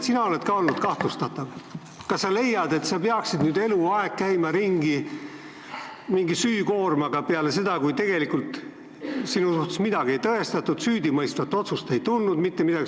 Sina oled ka olnud kahtlustatav, kas sa leiad, et peaksid nüüd eluaeg käima ringi mingi süükoormaga, kuigi tegelikult midagi ei tõestatud ja süüdimõistvat otsust ei tulnud?